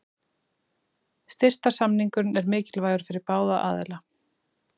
Styrktarsamningurinn er mikilvægur fyrir báða aðila.